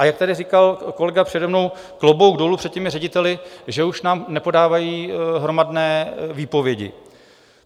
A jak tady říkal kolega přede mnou, klobouk dolů před těmi řediteli, že už nám nepodávají hromadné výpovědi.